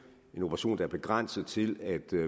en operation der er begrænset til at